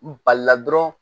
N balila dɔrɔn